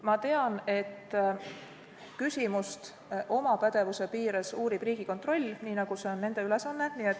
Ma tean, et küsimust uurib oma pädevuse piires Riigikontroll, nii nagu see nende ülesanne on.